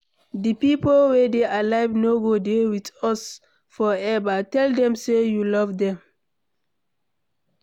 Di pipo wey dey alive, no go dey with us forever, tell them sey you love dem